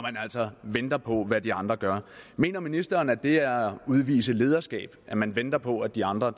altså venter på hvad de andre gør mener ministeren at det er at udvise lederskab at man venter på at de andre